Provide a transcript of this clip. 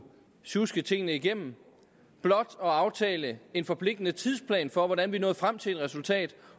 sjuske tingene igennem blot at aftale en forpligtende tidsplan for hvordan vi nåede frem til et resultat